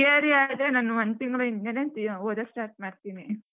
Theory ಆದ್ರೆ ನಾನ್ ಒಂದ್ ತಿಂಗ್ಳ್ ಹಿಂದೇನೆ ಓದಕ್ಕೆ start ಮಾಡ್ತೀನಿ.